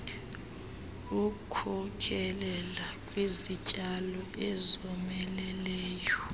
wkhokelela kwizityalo ezomeleleyo